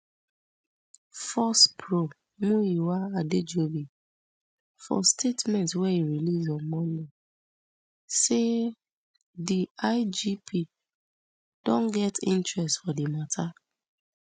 force pro muyiwa adejobi for statement wey e release on monday say di igp don get interest for di mata